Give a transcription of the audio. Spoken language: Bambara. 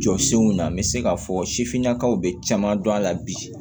Jɔ senw na n bɛ se k'a fɔ sifinnakaw bɛ caman dɔn a la bi